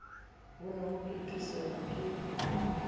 ho ne ho phethesela ke